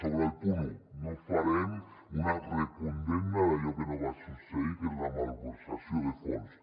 sobre el punt un no farem una recondemna d’allò que no va succeir que és la malversació de fons